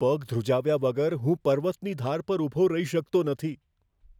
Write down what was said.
પગ ધ્રુજાવ્યા વગર હું પર્વતની ધાર પર ઊભો રહી શકતો નથી.